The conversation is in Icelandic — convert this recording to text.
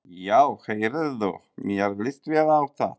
Já heyrðu, mér líst vel á það!